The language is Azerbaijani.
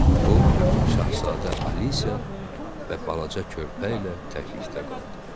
O, Şahzadə Alisə və balaca körpə ilə təklikdə qaldı.